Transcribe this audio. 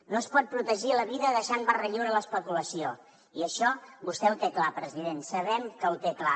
no es pot protegir la vida deixant barra lliure a l’especulació i això vostè ho té clar president sabem que ho té clar